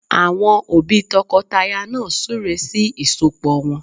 Àwọn òbí tọkọtaya náà súre sí ìsọpọ̀ wọn